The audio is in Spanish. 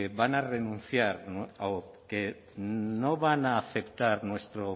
van a renunciar o que no van a aceptar